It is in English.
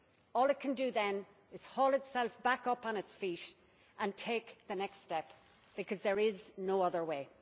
All it can do then is haul itself back up on its feet, and take the next step, because there is no other way.